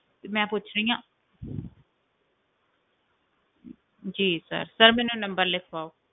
ਤੇ ਮੈਂ ਪੁੱਛ ਰਹੀ ਹਾਂ ਜੀ sir sir ਮੈਨੂੰ number ਲਿਖਵਾਓ।